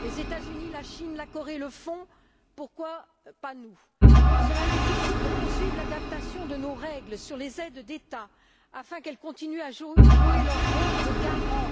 Les États Unis, la Chine et la Corée le font, pourquoi pas nous? Cela va nécessiter de poursuivre l'adaptation de nos règles sur les aides d'État, afin qu'elles continuent à jouer leur rôle de garant